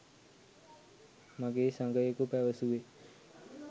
මගේ සගයකු පැවසුවේ